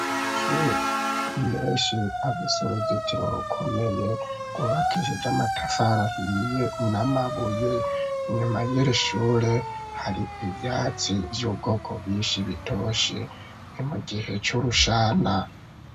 Amashure menshi afise uruzitiro rukomeye gw,ubakishije amatafari ahiye n,amabuye inyuma y'iri shure hari ivyatsi vy'ubwoko bwishi bitoshe ni mu gihe c'urushana.